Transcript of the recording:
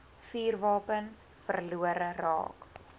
vuurwapen verlore raak